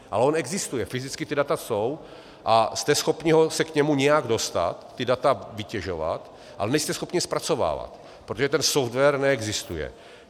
A on existuje, fyzicky ta data jsou a jste schopni se k němu nějak dostat, ta data vytěžovat, ale nejste schopni je zpracovávat, protože ten software neexistuje.